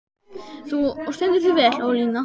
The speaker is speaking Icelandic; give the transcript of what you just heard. Þú stendur þig vel, Ólína!